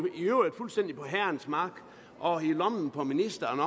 i øvrigt fuldstændig på herrens mark og i lommen på ministeren